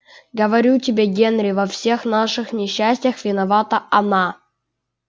говорю тебе генри во всех наших несчастьях виновата она